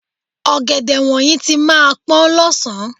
Ọ̀gẹ̀dẹ̀ wọ̀nyí tí máa pọ́n lọ́sàn-án.